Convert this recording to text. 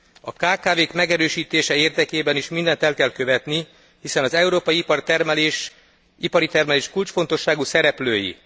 A kkv k megerősítése érdekében is mindent el kell követni, hiszen az európai ipari termelés kulcsfontosságú szereplői.